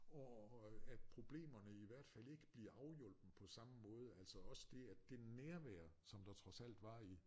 Og øh at problemerne i hvert fald ikke bliver afhjulpet på samme måde altså også det at det nærvær der trods alt var i